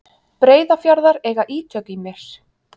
Breiðafjarðar eiga ítök í mér.